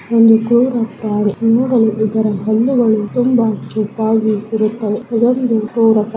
ಇದೊಂದು ಘೋರ ಪ್ರಾಣಿ ಇದರ ಹಲ್ಲು ಗಳು ತುಂಬ ಚೂಪಾಗಿ ಇರುತ್ತವೆ ಇದೊಂದು --